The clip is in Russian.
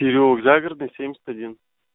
переулок загородный семьдесят один